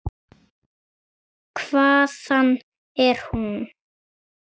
Hvaðan er hún?